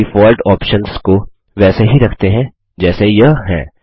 इन default options को वैसे ही रखते हैं जैसे यह हैं